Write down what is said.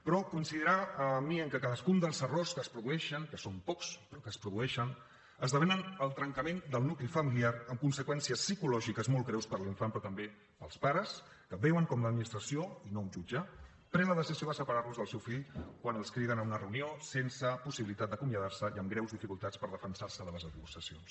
però deurà coincidir amb mi que cadascun dels errors que es produeixen que són pocs però que es produeixen esdevé el trencament del nucli familiar amb conseqüències psicològiques molt greus per a l’infant però també per als pares que veuen com l’administració i no un jutge pren la decisió de separar los del seu fill quan els criden a una reunió sense possibilitat d’acomiadar se’n i amb greus dificultats per defensar se de les acusacions